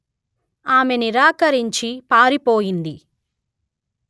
ఆమె నిరాకరించి పారిపోయింది